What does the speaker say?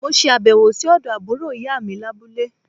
Mo se àbèwò sí òdo àbúrò ìyá mi lábúlé